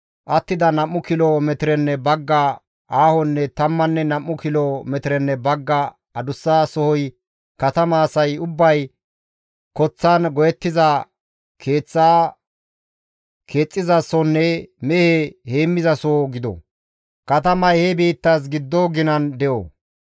«Attida nam7u kilo metirenne bagga aahonne tammanne nam7u kilo metirenne bagga adussa sohoy katama asay ubbay koththan go7ettiza keeththaa keexxizasonne mehe heemmizasoho gido; katamay he biittas giddo ginan de7o.